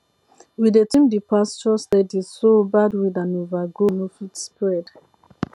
we dey trim the pasture steady so bad weed and overgrow no fit spread